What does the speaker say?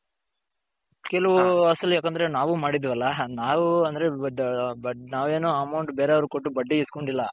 ಕೆಲವು ಅಸಲು ಯಾಕಂದ್ರೆ ನಾವು ಮಾಡಿದಿವಿ ಅಲ ನಾವು ಅಂದ್ರೆ ನಾವು ಏನು amount ಬೇರೆಯವರಿಗೆ ಕೊಟ್ಟು ಬಡ್ಡಿ ಇಸ್ಕೊಂದಿಲ್ಲ.